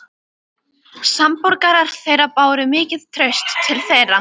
Samborgarar þeirra báru mikið traust til þeirra.